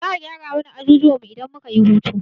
Za'a gyara mana ajujuwan mu idan muka yi hutu.